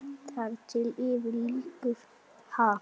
Þar til yfir lýkur.